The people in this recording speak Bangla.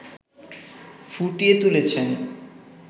ফুটিয়ে তুলেছে